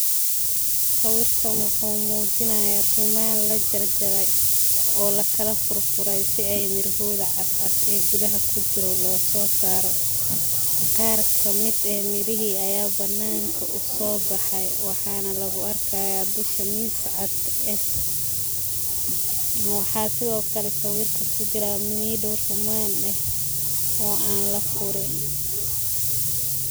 Sawirkan wuxuu mujinaya ruuman lajarjarey, oo lakala furfurey si ey mirahodha cascas ee gudhaha kujiro lososaro, ker kamid eh mirihi aya bananka uu sobahay, wahana lagu arkaya dhushaa miis cadh eh, waxaa sidhokale sawirka kujira mido ruman eh oo aan lafurin.